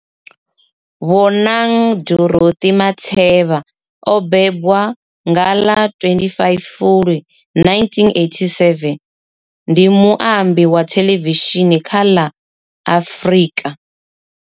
Bonang Dorothy Matheba o bebwa nga ḽa 25 Fulwi 1987, ndi muambi wa thelevishini kha la Afrika.